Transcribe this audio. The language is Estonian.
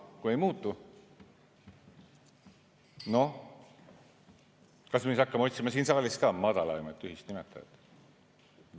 Kui ei muutu – noh, kas me siis hakkame otsima siin saalis ka madalaimat ühist nimetajat?